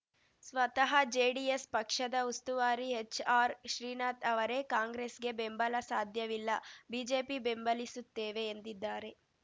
ಸ್ವತಃ ಜೆಡಿಎಸ್‌ ಪಕ್ಷದ ಉಸ್ತುವಾರಿ ಎಚ್‌ಆರ್‌ಶ್ರೀನಾಥ್ ಅವರೇ ಕಾಂಗ್ರೆಸ್‌ಗೆ ಬೆಂಬಲ ಸಾಧ್ಯವಿಲ್ಲ ಬಿಜೆಪಿ ಬೆಂಬಲಿಸುತ್ತೇವೆ ಎಂದಿದ್ದಾರೆ